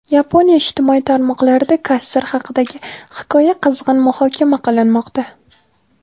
Yaponiya ijtimoiy tarmoqlarida kassir haqidagi hikoya qizg‘in muhokama qilinmoqda.